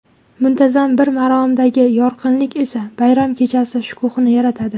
Muntazam bir maromdagi yorqinlik esa bayram kechasi shukuhini yaratadi.